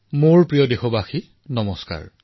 মোৰ মৰমৰ দেশবাসীসকল নমস্কাৰ